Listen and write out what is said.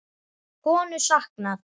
Konu saknað